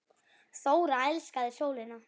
Þóra elskaði sólina.